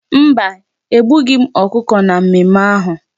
Mba, egbughị m ọkụkọ na mmemme ahu.